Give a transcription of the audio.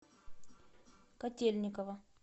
котельниково